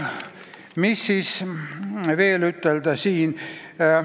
Mis siis veel ütelda?